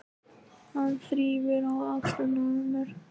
Hann þrífur í axlirnar á mér.